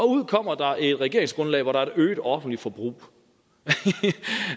ud kommer der et regeringsgrundlag hvor der er et øget offentligt forbrug